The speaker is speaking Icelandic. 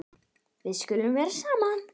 Við skulum vera saman.